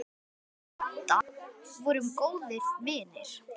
Við Adda vorum góðir vinir.